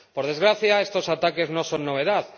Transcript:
Por desgracia, estos ataques no son novedad.